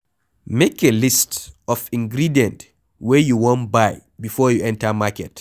Make a list of the ingredient wey you wan buy before you enter market